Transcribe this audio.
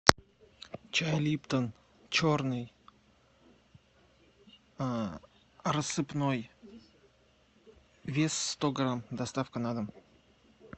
чай липтон черный рассыпной вес сто грамм доставка на дом